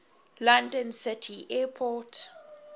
london city airport